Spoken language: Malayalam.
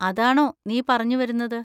അതാണോ നീ പറഞ്ഞുവരുന്നത്?